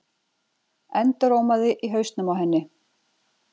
endurómaði í hausnum á henni.